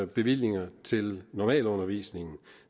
bevillinger til normalundervisningen